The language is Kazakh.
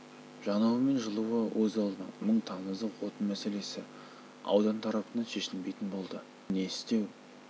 жануы мен жылуы өз алдына мұң тамызық отын мәселесі аудан тарапынан шешілмейтін болды енді не істеу